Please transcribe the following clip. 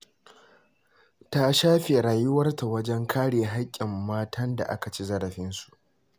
Ta shafe rayuwarta wajen kare haƙƙin matan da aka ci zarafinsu.